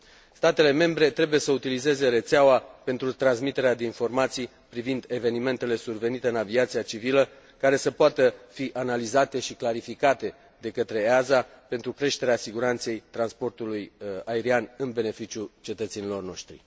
Statele membre trebuie să utilizeze rețeaua pentru transmiterea de informații privind evenimentele survenite în aviația civilă, care să poată fi analizate și clarificate de către EASA pentru creșterea siguranței transportului aerian în beneficiul cetățenilor noștri.